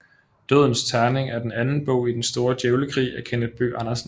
Dødens terning er den anden bog i Den Store Djævlekrig af Kenneth Bøgh Andersen